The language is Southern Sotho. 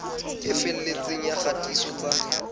e felletseng ya kgatiso tsa